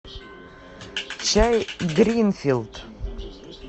чай гринфилд